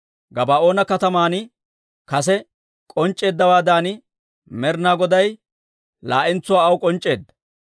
Gabaa'oona kataman kase k'onc'c'eeddawaadan, Med'inaa Goday laa'entsuwaa aw k'onc'c'eedda.